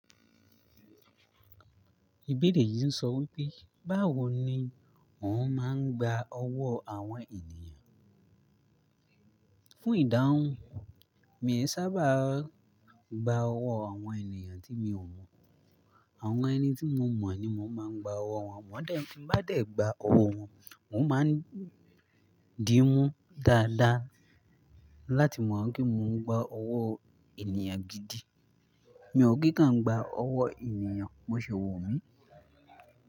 Ìbéèrè yìí ń sọ wípé, báwo ni mò ń máa ń gba ọwọ́ àwọn ènìyàn? Fún ìdáhùn, mí ò sábà gba ọwọ́ àwọn ènìyàn tí mi ò mọ̀. Àwọn ẹni tí mo mọ̀ ni mò ń máa ń gba ọwọ́ wọn. Bí mo bá dẹ̀ gba ọwọ́ wọn, mò ń máa ń dín mú dáadáa láti mọ̀ pé kí mò ń gba ọwọ́ ènìyàn gidi. Mi ò kíkán gba ọwọ́ ènìyàn, bó sì wò mí.